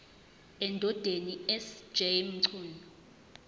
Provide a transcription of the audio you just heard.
endodeni sj mchunu